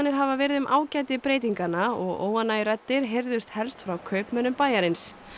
hafa verið um ágæti breytinganna og óánægjuraddir heyrðust helst frá kaupmönnum bæjarins